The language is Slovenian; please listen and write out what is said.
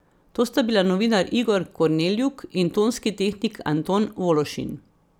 To sta bila novinar Igor Korneljuk in tonski tehnik Anton Vološin.